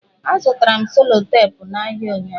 Azụtara m selotepụ n'ahịa ụnyụahụ.